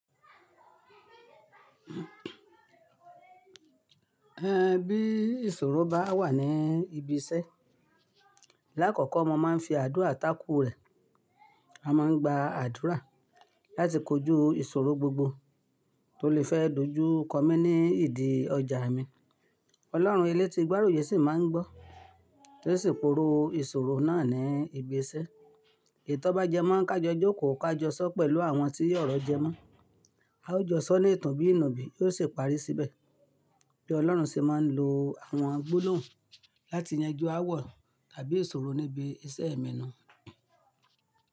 Ẹ bí ìṣòro bá wà ní ibi iṣẹ́, lákọ̀ọ̀kọ́ mo máa ń fi àdúrà takú rẹ̀. A máa ń gba àdúrà láti kojú ìṣòro gbogbo tó lè fẹ́ dojú kọ mí ní ìdí ọjà mi. Ọlọ́run elétí gbárùyè sì máa ń gbọ́, ó sì pòrò ìṣòro náà ní ibi iṣẹ́. Ètọ́bájẹ́mọ́ ká jọ jókò ká jọ sọ́ pẹ̀lú àwọn tí orọ jẹ́mọ́. A ó jọ sọ ní ìtàn bí ìnùbí yóò ṣe parí síbẹ̀. Bí Ọlọ́run ṣe máa ń lo àwọn gbólòhùn láti yanjú ááwọ̀ tàbí ìṣòro níbi iṣẹ́ èmi nu.